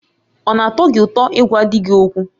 Ọ na-atọ gị ụtọ ịgwa di gị okwu?